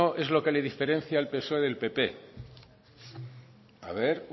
es lo que le diferencia al psoe del pp a ver